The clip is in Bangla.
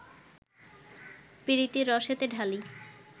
পীরিতি রসেতে ঢালি